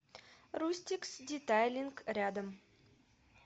рустикс детайлинг рядом